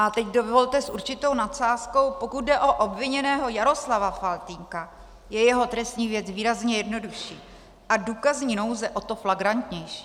A teď dovolte s určitou nadsázkou - pokud jde o obviněného Jaroslava Faltýnka, je jeho trestní věc výrazně jednodušší a důkazní nouze o to flagrantnější.